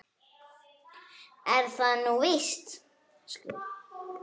Er það nú víst ?